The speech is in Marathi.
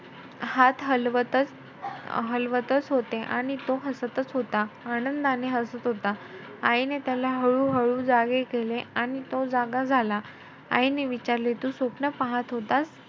हात हलवतचं ~ हलवतचं होता. आणि तो हसतचं होता आनंदाने हसत होता. आईने त्याला हळू-हळू जागे केले. आणि तो जागा झाला.